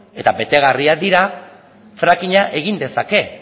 eta betegarriak dira frackinga egin dezake